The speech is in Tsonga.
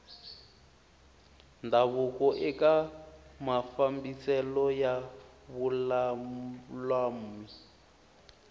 ndhavuko eka mafambiselo ya vululami